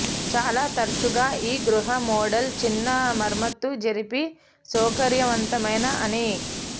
చాలా తరచుగా ఈ గృహ మోడల్ చిన్న మరమ్మతు జరిపి సౌకర్యవంతమైన అని